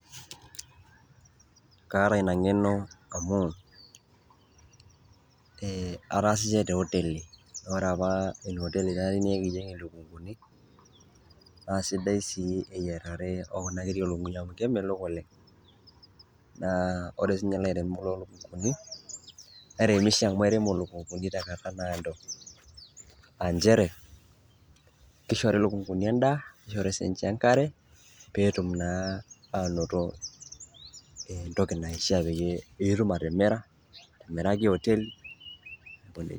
Kaata ina ng'eno amu ataasishe te oteli ore apa ina oteli keya naa nekiyeng' ilukung'uni naa sidai sii eyiarare o kuna kiri o lukung'uni amu kemelok oleng'. Naa ore sinye ilaremok lo lukung'uni, eiremisho amu eirem ilukung'uni tenkata naado a njere kishori ilukung'uni endaa, nishori sinje engare peetum naa anoto entoki naishaa peyie piitum atimira, amiraki oteli neeku neija.